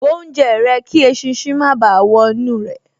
Bó oúnjẹ rẹ kí eṣinṣin má báà wọ inú rẹ̀